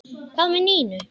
Hvað með Nínu?